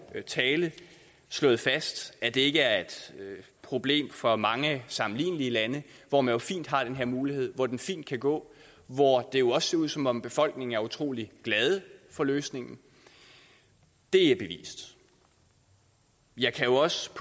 tale slået fast at det ikke er et problem for mange sammenlignelige lande hvor man har den her mulighed og hvor det fint kan gå og hvor det jo også ser ud som om befolkningen er utrolig glade for løsningen det er bevist jeg kan jo også